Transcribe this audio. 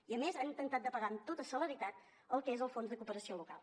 i a més ha intentat de pagar amb tota celeritat el que és el fons de cooperació local